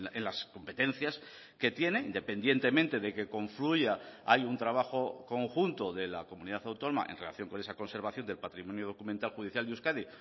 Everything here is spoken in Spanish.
en las competencias que tiene independientemente de que confluya hay un trabajo conjunto de la comunidad autónoma en relación con esa conservación del patrimonio documental judicial de euskadi